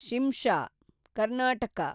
Shimsha (Karnataka)